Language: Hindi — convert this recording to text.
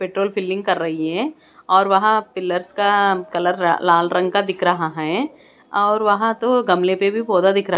पेट्रोल फिलिंग कर रही है और वहाँ पिल्लर्स का कलर लाल रंग का दिख रहा है और वहाँ तो गमलें पे भी पौधा दिख रहा।